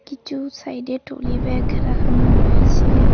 কিচু সাইডে trolley bag রাখানো রয়েছে।